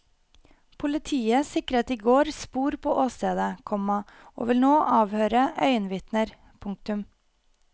Politiet sikret i går spor på åstedet, komma og vil nå avhøre øyenvitner. punktum